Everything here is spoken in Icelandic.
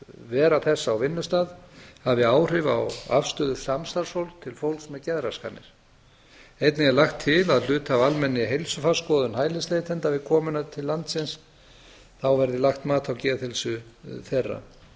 vera þess á vinnustað hafi áhrif á afstöðu samstarfsfólks til fólks með geðraskanir einnig er lagt til að hluti af almennri heilsufarsskoðun hælisleitenda við komuna til landsins verði að leggja mat á geðheilsu þeirra